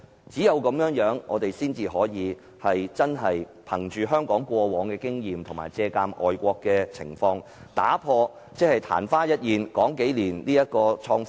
這樣，我們才能汲取香港過往經驗及借鑒外國的情況，以打破曇花一現的情況。